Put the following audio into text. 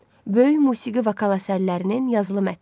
Böyük musiqi vokal əsərlərinin yazılı mətni.